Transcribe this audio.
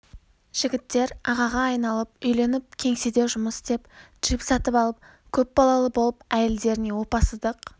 жігіттер ағаға айналып үйленіп кеңседе жұмыс істеп джип сатып алып көп балалы болып әйелдеріне опасыздық